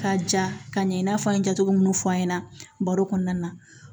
Ka ja ka ɲɛ i n'a fɔ an ye ja cogo minnu fɔ an ɲɛna baro kɔnɔna na